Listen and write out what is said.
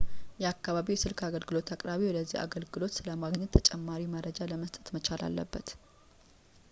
የአከባቢዎ የስልክ አገልግሎት አቅራቢ ወደዚህ አገልግሎት ስለ ማገናኘት ተጨማሪ መረጃ ለመስጠት መቻል አለበት